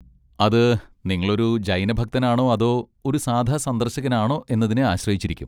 അത് നിങ്ങളൊരു ജൈന ഭക്തനാണോ അതോ ഒരു സാധാ സന്ദർശകനാണോ എന്നതിനെ ആശ്രയിച്ചിരിക്കും.